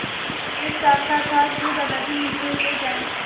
मैं चाहता था कि दादाजी नीचे उतर आएँ